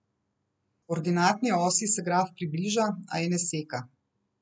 Ordinatni osi se graf približa, a je ne seka.